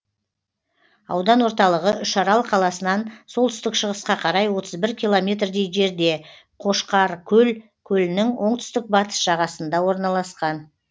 аудан орталығы үшарал қаласынан солтүстік шығысқа қарай отыз бір километрдей жерде қошқаркөл көлінің оңтүстік батыс жағасында орналасқан